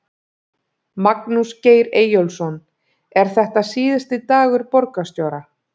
Magnús Geir Eyjólfsson: Er þetta síðasti dagur borgarstjóra?